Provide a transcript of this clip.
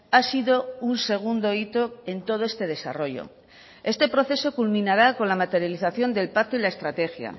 ha sido un segundo hito en todo este desarrollo este proceso culminará con la materialización del pacto y la estrategia